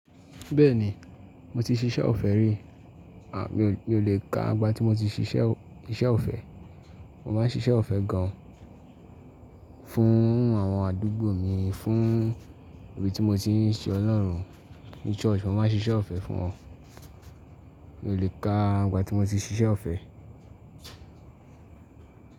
Bẹ́ẹ̀ni, mo ti ṣiṣẹ́ ọ̀fẹ́ rí. À, mi o le ka àgbà tí mo ti ṣiṣẹ́ o ise ọ̀fẹ́. Mo máa ń ṣiṣẹ́ ọ̀fẹ́ gan fún àwọn àdúgbò mi, fún ibi tí mo ti ń ṣe Ọlọ́run, ní church, mo máa ń ṣiṣẹ́ ọ̀fẹ́ fún wọn. Mi o le ka àgbà tí mo ti ṣiṣẹ́ ọ̀fẹ́.